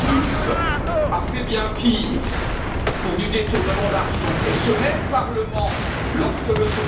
Schulz a fait bien pire pour du détournement d'argent, et ce même Parlement, lorsque M.